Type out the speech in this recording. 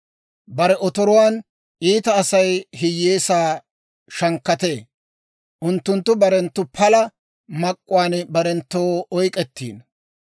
Bare otoruwaan iita Asay hiyyeesaa shankkatee. Unttunttu barenttu pala mak'k'uwaan barenttoo oyk'k'ettino.